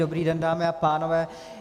Dobrý den dámy a pánové.